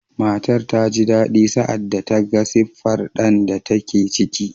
Matar ta ji daɗi sa’ad da ta ga siffar ɗan da take ciki.